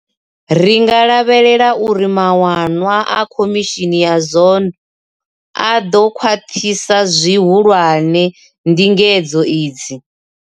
Ri nga lavhelela uri mawanwa a khomishini ya Zondo a ḓo khwaṱhisa zwi hulwane ndingedzo idzi.